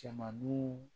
Cɛmaninw